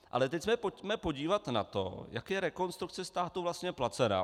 Ale teď se pojďme podívat na to, jak je Rekonstrukce státu vlastně placená.